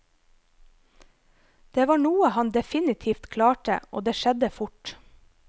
Det var noe han definitivt klarte, og det skjedde fort.